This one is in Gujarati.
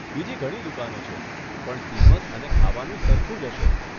બીજી ઘણી દુકાનો છે, પણ કિંમત અને ખાવાનું સરખું જ હશે.